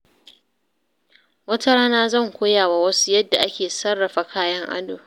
Wata rana, zan koya wa wasu yadda ake sarrafa kayan ado.